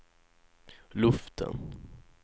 luften